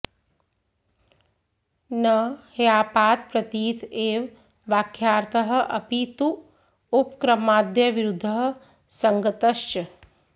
न ह्यापातप्रतीत् एव वाक्यार्थः अपि तु उपक्रमाद्यविरुध्दः सङ्गतश्च